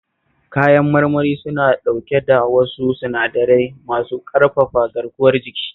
Kayan marmari suna dauke da wasu sinadarai masu ƙarfafa garkuwar jiki